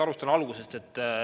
Alustan algusest.